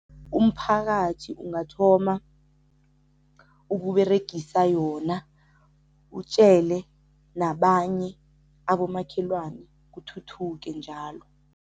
Umphakathi ungathoma ukUberegisa yona, utjele nabanye abomakhelwane kuthuthuke njalo.